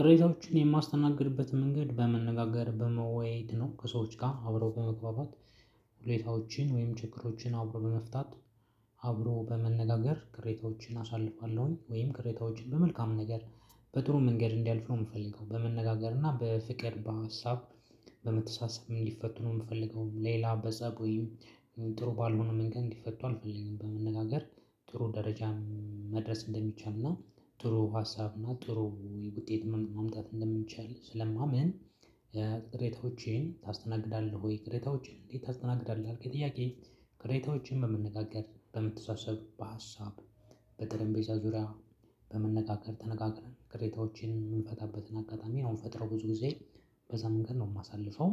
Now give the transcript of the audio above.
ቅሬታዎችን የማስተናግድበትን መንገድ በመነጋገር በመወያየት ነው ከሰዎች ጋር አብሮ በመግባባት፣ ሁኔታዎችን ወይም ችግሮችን አብሮ በመፍታት አብሮ በመነጋገር ቅሬታዎችን አሳልፋለሁኝ ወይም ቅሬታዎችን በመልካም ነገር፣ በጥሩ መንገድ እንዲያልፍ ነው የምፈልገው። በመነጋገር እና በፍቅር በሀሳብ በመተሳሰብ እንዲፈቱኑ ነው የምፈልገው ሌላ በጸብ ወይም ጥሩ ባልሆነ መንገድ እንዲፈቱ አልፈልግም። በመነጋገር ጥሩ ደረጃ መድረስ እንደሚቻልና ጥሩ ሀሳብና ጥሩ ውጤት ማምጣት እንደሚቻል ስለማምን ቅሬታዎችን ታስተናግዳለህ ወይ? ቅሬታዎችን እንዴት ታሰተናግዳለህ የልከኝ ጥያቄ ቅሬታዎችን በመነጋገር፣ በመተሳሰብ፣ በሀሳብ በጠረጴዛ ዙሪያ በመነጋገር ተነጋገርን ቅሬታዎችን የምንፈታበትን አጋጣሚ ነው የምንፈጥረው ብዙ ጊዜ በዛ መንገድ ነው የማሳልፈው